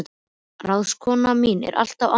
Ráðskonan mín var alltaf ánægð með það.